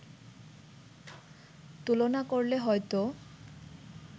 তুলনা করলে হয়তো